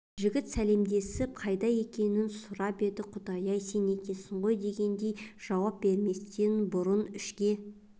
жігіт сәлемдесіп қайда екенін сұрап еді құдай-ай сен екенсің ғой дегендей жауап берместен бұрын ішке